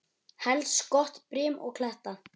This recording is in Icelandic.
Helst gott brim og kletta.